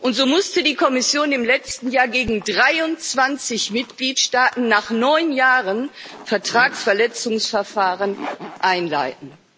Und so musste die Kommission im letzten Jahr gegen 23 Mitgliedstaaten nach neun Jahren Vertragsverletzungsverfahren einleiten.